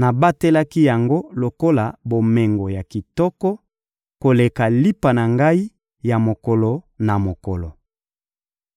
nabatelaki yango lokola bomengo ya kitoko, koleka lipa na ngai ya mokolo na mokolo.